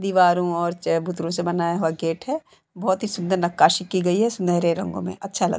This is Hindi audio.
दीवारों और चबूतरों से बनाया हुआ गेट है बहुत ही सुन्दर नक्काशी की गयी है सुनेहरे रंगो में अच्छा लग --